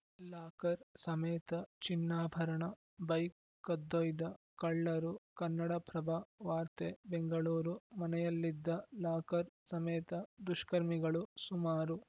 locker ಸಮೇತ ಚಿನ್ನಾಭರಣ bike ಕದ್ದೊಯ್ದ ಕಳ್ಳರು ಕನ್ನಡಪ್ರಭ ವಾರ್ತೆ ಬೆಂಗಳೂರು ಮನೆಯಲ್ಲಿದ್ದ ಲಾಕರ್‌ ಸಮೇತ ದುಷ್ಕರ್ಮಿಗಳು ಸುಮಾರು